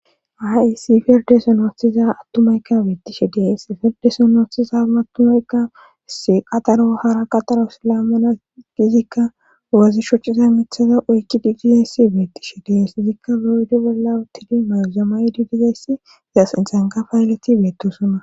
Hayssi firde sonoostiza attumaykka wiittishe dees ferdesonootiza matumaykka saxaro hara qaxaro silamana gizikka ogazi shocciza mithaza oykki didiayssi beettishi dees izikka biroydi bolla uttidi mayzamay didiayssi zasinsanqa payaleti beettosunna